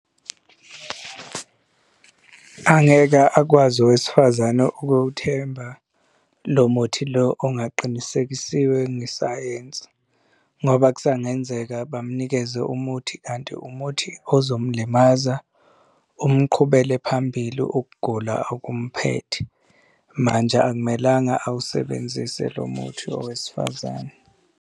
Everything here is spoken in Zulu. Angeke akwazi owesifazane ukuwuthemba lo muthi lo ongaqinisekisiwe ngesayensi. Ngoba kusangenzeka bamunikeze umuthi kanti umuthi ozomlimaza uma uqhubele phambili ukugula okumphethe. Manje akumelanga awusebenzise lo muthi owesifazane.